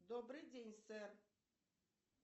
добрый день сэр